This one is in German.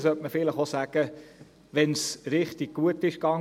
Deshalb sollte man auch sagen, wenn es richtig gut ging.